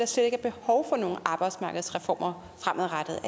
slet ikke er behov for nogen arbejdsmarkedsreformer fremadrettet er